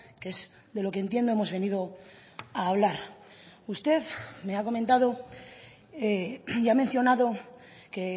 que es de lo que entiendo hemos venido a hablar usted me ha comentado y ha mencionado que